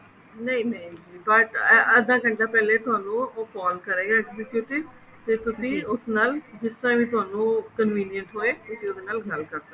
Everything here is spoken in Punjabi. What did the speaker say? ਨਹੀਂ ਨਹੀਂ ਨਹੀਂ but ਅੱਧਾ ਘੰਟਾ ਪਹਿਲੇ ਤੁਹਾਨੂੰ ਉਹ call ਕਰੇਗਾ executive ਤੇ ਤੁਸੀਂ ਉਸ ਨਾਲ ਜਿਸ ਤਰ੍ਹਾਂ ਵੀ ਤੁਹਾਨੂੰ convenience ਹੋਵੇ ਤੁਸੀਂ ਉਸ ਨਾਲ ਗੱਲ ਕਰ ਸਕਦੇ ਹੋ